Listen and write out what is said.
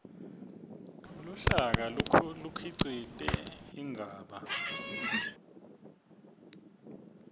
luhlaka bukhicite indzaba